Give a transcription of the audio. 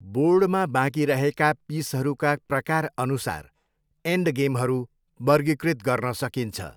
बोर्डमा बाँकी रहेका पिसहरूका प्रकारअनुसार एन्डगेमहरू वर्गीकृत गर्न सकिन्छ।